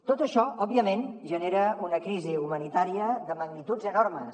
tot això òbviament genera una crisi humanitària de magnituds enormes